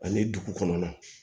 Ani dugu kɔnɔna